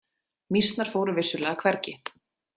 Mýsnar fóru vissulega hvergi.